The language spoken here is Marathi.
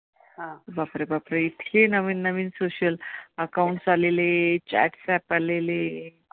बापरे बाप! इतके नवीन नवीन social accounts आलेले chats app आलेले.